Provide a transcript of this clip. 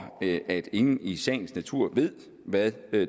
at ingen i sagens natur ved hvad